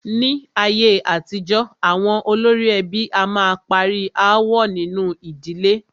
Ní ayé àtijọ́, àwọn olórí ẹbí a máa parí aáwọ̀ nínu ìdílé.